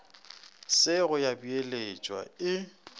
se go ya beeletšwa e